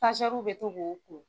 bɛ to ko ko.